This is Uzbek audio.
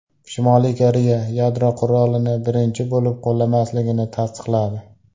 Shimoliy Koreya yadro qurolini birinchi bo‘lib qo‘llamasligini tasdiqladi.